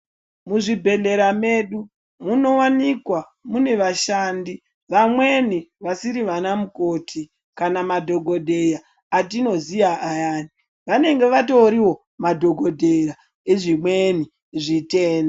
Muzvibhedhlera medu munowanikwa mune vashandi vamweni vasiri vana mukoti kana madhokodheya atinoziya ayani vanenge vatoriwo madhokodheya ezvimweni zvitenda